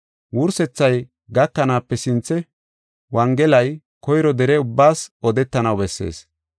Wursethay gakanaape sinthe wongelay koyro dere ubbaas odetanaw bessees.